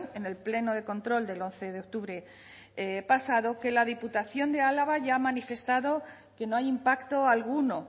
en el pleno de control del once de octubre pasado que la diputación de álava ya ha manifestado que no hay impacto alguno